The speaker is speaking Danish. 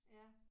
Ja